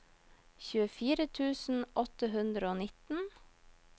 tjuefire tusen åtte hundre og nitten